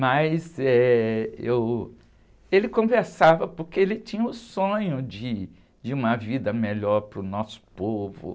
Mas eh, eu, ele conversava porque ele tinha o sonho de, de uma vida melhor para o nosso povo.